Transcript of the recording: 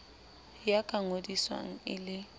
ya ka ngodiswang e le